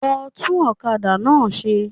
Lọ tún òkadà náà se